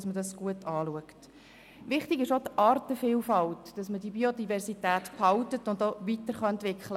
Wichtig ist auch, die Artenvielfalt zu erhalten und weiterzuentwickeln.